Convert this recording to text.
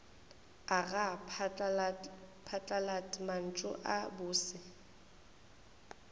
aga phatlalat mantšu a bose